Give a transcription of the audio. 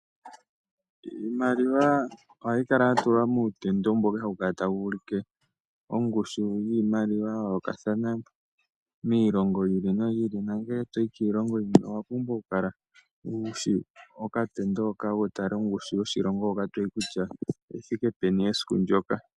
Iimaliwa ohayi kala yatulwa muutendo mboka hawu kala tawu ulike ongushu yiimaliwa ya yoolokathana miilongo yi ili noyi ili. Nongele toyi kiilongo yilwe owa pumbwa oku kala wushi okatendo hoka, wutale ongushu yoshilongo hoka toyi kutya oyithike peni esiku ndyoka.